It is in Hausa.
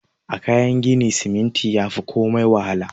A Kayan gini siminti yafi komai wahalar wa.